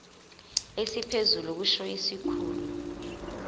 esiphezulu kusho isikhulu